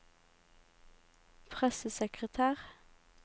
pressesekretær